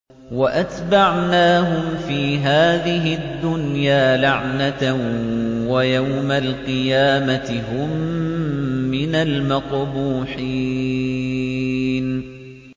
وَأَتْبَعْنَاهُمْ فِي هَٰذِهِ الدُّنْيَا لَعْنَةً ۖ وَيَوْمَ الْقِيَامَةِ هُم مِّنَ الْمَقْبُوحِينَ